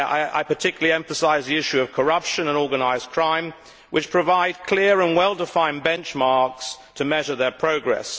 I particularly emphasise the issue of corruption and organised crime, on which there are clear and well defined benchmarks for measuring progress.